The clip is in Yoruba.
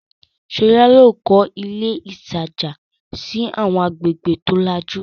Ṣọlá yóò kọ́ ilé ilé-ìtajà sí àwọn agbègbè tó lajú.